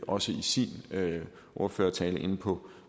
også i sin ordførertale inde på